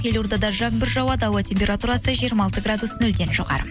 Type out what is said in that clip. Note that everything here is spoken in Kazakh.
елордада жаңбыр жауады ауа температурасы жиырма алты градус нөлден жоғары